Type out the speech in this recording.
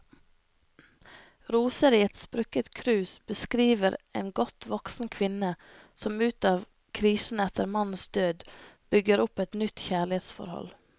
Roser i et sprukket krus beskriver en godt voksen kvinne som ut av krisen etter mannens død, bygger opp et nytt kjærlighetsforhold.